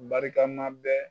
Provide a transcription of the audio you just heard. Barika ma bɛɛ